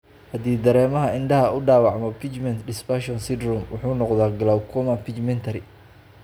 Haddii dareemaha indhaha uu dhaawacmo, pigment dispersion syndrome wuxuu noqdaa glaucoma pigmentary.